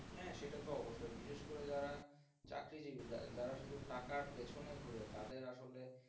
হ্যাঁ সেটা তো অবশ্যই বিশেষ করে যারা চাকরিজীবী যারা শুধু টাকার পেছনে ঘোরে তাদের আসলে